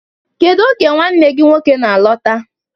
Kedu oge nwanne gị nwoke na-alọta?